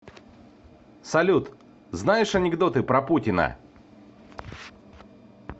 салют знаешь анекдоты про путина